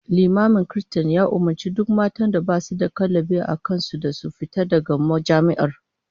Limamin kiristan ya umurci duk matan da basu da kallabi a kan su da su fita daga majami'ar